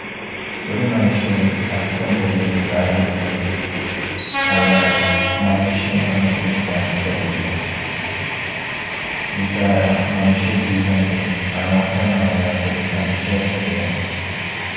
ഒരു മനുഷ്യനിൽ അല്പം പോലും വികാരം ഇല്ലെങ്കിൽ അയാളെ മനുഷ്യൻ എന്ന് വിളിക്കാൻ കഴിയില്ല. വികാരം മനുഷ്യജീവന്റെ മനോഹരമായ ഒരു സവിശേഷതയാണ്.